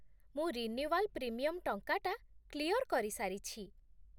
ମୁଁ renewal premium ଟଙ୍କାଟା clear କରିସାରିଛି ।